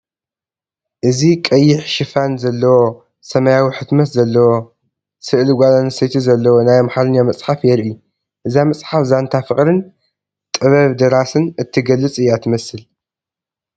እዚ ቀይሕ ሽፋን ዘለዎ፣ ሰማያዊ ሕትመት ዘለዎ፣ ስእሊ ጓል ኣንስተይቲ ዘለዎ ናይ ኣምሓርኛ መፅሓፍ የርኢ። እዛ መጽሓፍ ዛንታ ፍቕርን ጥበብ ደራስን እትገልጽ እያ ትመስል።